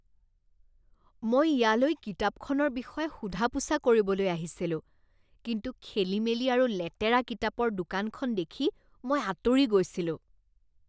মই ইয়ালৈ কিতাপখনৰ বিষয়ে সোধা পোছা কৰিবলৈ আহিছিলো কিন্তু খেলিমেলি আৰু লেতেৰা কিতাপৰ দোকানখন দেখি মই আঁতৰি গৈছিলো।